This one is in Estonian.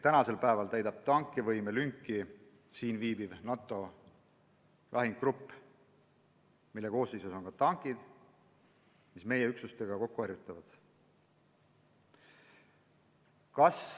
Praegu täidab tankivõimelünki siin viibiv NATO lahingugrupp, mille koosseisus on ka tankid, mis meie üksustega kokku harjutavad.